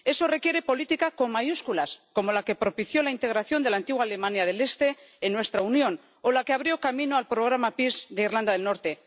Eso requiere política con mayúsculas, como la que propició la integración de la antigua Alemania del Este en nuestra Unión o la que abrió camino al programa PEACE de Irlanda del Norte.